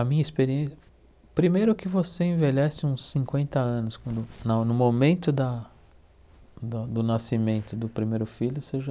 A minha experiên, primeiro que você envelhece uns cinquenta anos, quando no no momento da do nascimento do primeiro filho, você já